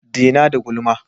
Dena da gulma!